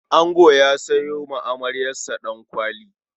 Ango ya sayo amaryarsa Ɗankwali.